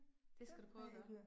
Det skal du prøve at gøre